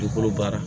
Dugukolo baara